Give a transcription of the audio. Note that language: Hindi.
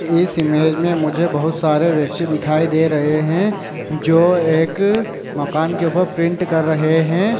इस इमेज में मुझे बहुत सारे व्यक्ति दिखाई दे रहे है जो एक मकान के ऊपर प्रिंट कर रहे है।